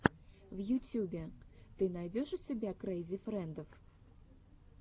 в ютюбе ты найдешь у себя крэйзи фрэндов